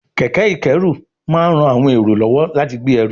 kẹ̀kẹ́ ìkẹ́rù máa ń ran àwọn èrò lọ́wọ́ láti gbé ẹrù